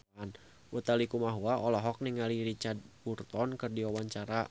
Utha Likumahua olohok ningali Richard Burton keur diwawancara